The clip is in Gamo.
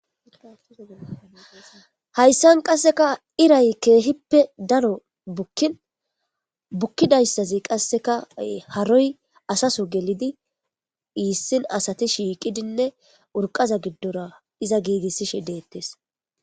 hayssan qasseka iray keehippe daro bukkin bukkidayssazi qasseka haroy asaso gelidi iissin asati shiiqidinne urqaza giddora iza giigissishe deettes